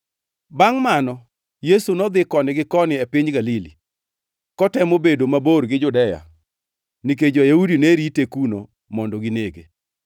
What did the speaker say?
Bangʼ mano Yesu nodhi koni gi koni e piny Galili, kotemo bedo mabor gi Judea nikech jo-Yahudi ne rite kuno mondo ginege.